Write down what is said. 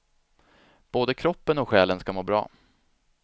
Både kroppen och själen ska må bra.